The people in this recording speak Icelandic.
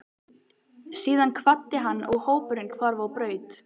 Síðan kvaddi hann og hópurinn hvarf á braut.